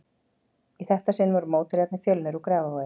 Í þetta sinn voru mótherjarnir Fjölnir úr Grafarvogi.